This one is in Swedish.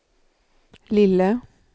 lille